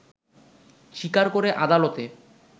স্বীকার করে আদালতে